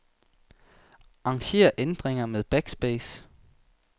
Arranger ændringer med backspace.